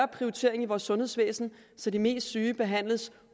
prioritering i vores sundhedsvæsen så de mest syge behandles